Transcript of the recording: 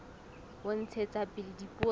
ho ntshetsa pele dipuo tsa